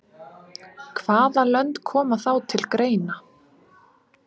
Hvaða lönd koma þá til greina?